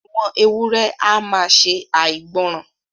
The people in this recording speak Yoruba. Àwọn èwùré à maa ṣè àìgbòran.